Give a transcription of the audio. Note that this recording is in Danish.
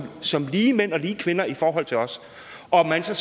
som lige mænd og lige kvinder i forhold til os og hvad så